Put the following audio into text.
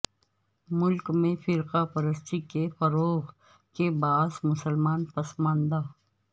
ملک میں فرقہ پرستی کے فروغ کے باعث مسلمان پسماندہ